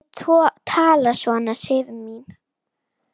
Ekki tala svona, Sif mín!